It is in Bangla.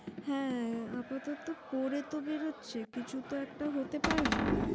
হ্যাঁ! আপাতত পড়ে তো বেরোচ্ছে, কিছু তো একটা হতে পারবে ।